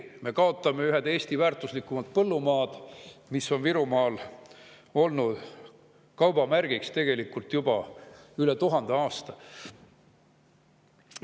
Me kaotame ühed Eesti väärtuslikumad põllumaad, mis on Virumaal olnud kaubamärgiks tegelikult juba üle tuhande aasta.